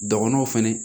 Dɔgɔnɔw fɛnɛ